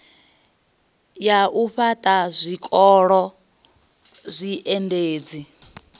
ya u fhaṱha zwikolo zwiendedzi